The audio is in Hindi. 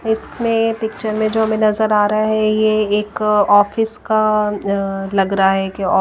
इस में पिक्चर में जो हमें नजर आ रहा है ये एक ऑफिस का अह लग रहा है कि ओ --